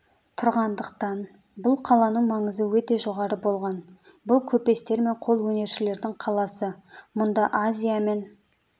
тұрғандықтан бұл қаланың маңызы өте жоғары болған бұл көпестер мен қолөнершілердің қаласы мұнда азия мен